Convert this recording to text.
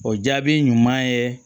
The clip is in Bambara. O jaabi ɲuman ye